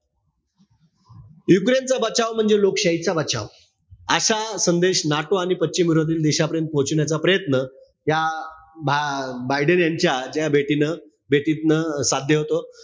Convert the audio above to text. युक्रेनचा बचाव म्हणजे लोकशाहीचा बचाव. असा संदेश NATO पश्चिम विरोधी देशापर्यंत पोचवण्याचा प्रयत्न या भा बायडेन यांच्या ज्या भेटीन भेटीतनं साध्य होतो.